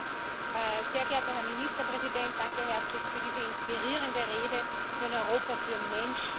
Herr Präsident, sehr geehrter Herr Ministerpräsident! Danke herzlichst für diese inspirierende Rede für ein Europa für Menschen.